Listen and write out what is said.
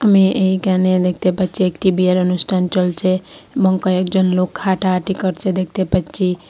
আমি এইখানে দেখতে পাচ্ছি একটি বিয়ের অনুষ্ঠান চলছে মঙ্কাই একজন লোক হাঁটাহাঁটি করছে দেখতে পাচ্ছি।